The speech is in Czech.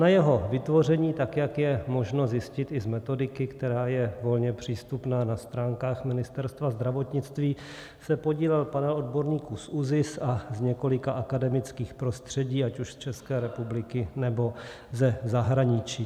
Na jeho vytvoření, tak jak je možno zjistit i z metodiky, která je volně přístupná na stránkách Ministerstva zdravotnictví, se podílel panel odborníků z ÚZIS a z několika akademických prostředí ať už z České republiky nebo ze zahraničí.